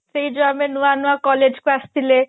ସେଇ ଯୋଉ ଆମେ ନୂଆ ନୂଆ collage କୁ ଆସିଥିଲେ